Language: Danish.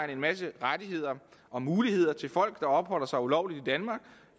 en masse rettigheder og muligheder til folk der opholder sig ulovligt